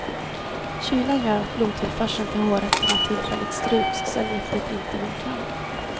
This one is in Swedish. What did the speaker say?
Kylan gör att blodtillförseln till hårrötterna tillfälligt stryps, och cellgiftet inte når fram.